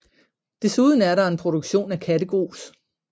Desuden er der en produktion af kattegrus